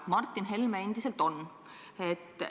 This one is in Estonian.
Martin Helme endiselt on.